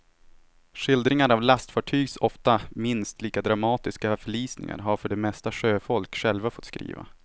Skildringar av lastfartygs ofta minst lika dramatiska förlisningar har för det mesta sjöfolk själva fått skriva.